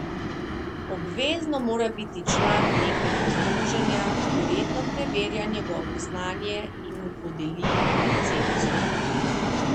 Obvezno mora biti član nekega združenja, ki redno preverja njegovo znanje in mu podeli licenco.